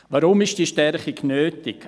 Weshalb ist diese Stärkung nötig?